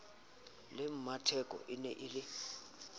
le mmatheko ene e le